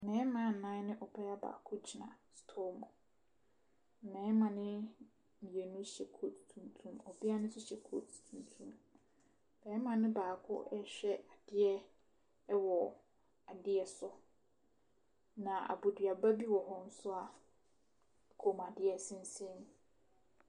Mmɛɛma nnan ne ɔbaa baako gyina sotɔɔ mu . Mmɛɛma no mmienu no hyɛ koat tumtum ɔbaa no nso hyɛ koat tumtu. Bɛɛma no baako ɛrehwɛ adeɛ wɔ adeɛ so na abodua ba bi wɔ hɔ nso a kɔn mu adeɛ sensane mu.